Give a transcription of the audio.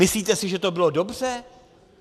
Myslíte si, že to bylo dobře?